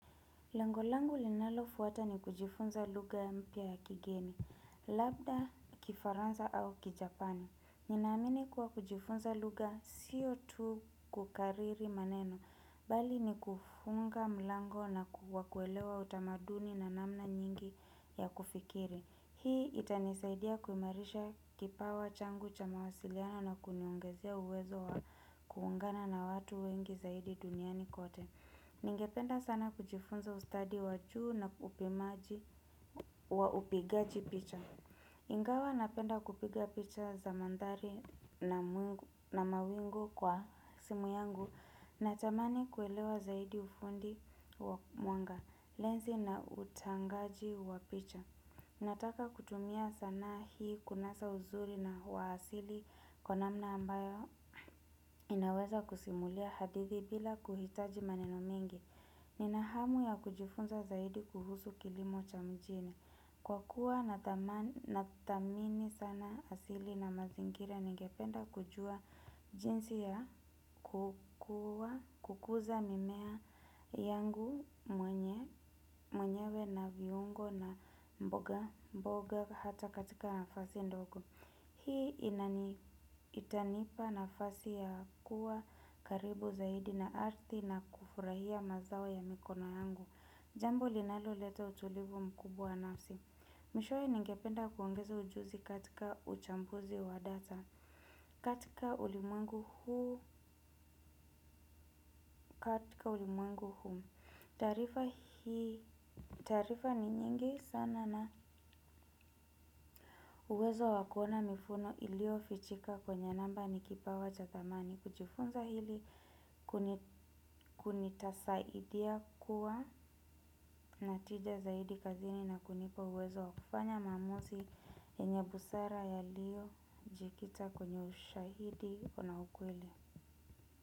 Lengo langu linalofuata ni kujifunza lugha mpya ya kigeni, labda Kifaransa au Kijapanim. Ninaamini kuwa kujifunza lugha siyo tu kukariri maneno, bali ni kufungua mlango na kuelewa utamaduni na namna nyingi za kufikiri. Hii itanisaidia kuimarisha kipawa changu cha mawasiliano na kuniongezea uwezo wa kuungana na watu wengi zaidi duniani kote. Ningependa sana kujifunza ustadi wa juu na upimaji wa upigaji picha. Ingawa napenda kupiga picha za mandhari na mawingu kwa simu yangu. Natamani kuelewa zaidi ufundi wa mwanga, lenzi na utangaji wa picha. Nataka kutumia sanaa hii kunasa uzuri wa asili kwa namna ambayo inaweza kusimulia hadithi bila kuhitaji maneno mengi. Nina hamu ya kujifunza zaidi kuhusu kilimo cha mjini. Kwa kuwa nathamini sana asili na mazingira, ningependa kujua jinsi ya kukuza mimea yangu mwenyewe, viungo na mboga hata katika nafasi ndogo. Hii itanipa nafasi ya kuwa karibu zaidi na ardhi na kufurahia mazao ya mikono yangu. Jambo linaloleta utulivu mkubwa wa nafsi. Mwishowe, ningependa kuongeza ujuzi katika uchambuzi wa data. Katika ulimwengu huu, katika ulimungu huu. Taarifa ni nyingi sana na uwezo wa kuona mifumo iliyofichika kwenye namba ni kipawa cha thamani. Kujifunza hili kutanisaidia kuwa na tija zaidi kazini na kunipa uwezo wa kufanya maamuzi. Yenye busara yaliyojikita kwenye ushahidi na ukweli.